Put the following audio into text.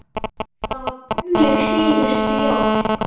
Það var tómlegt síðustu jól.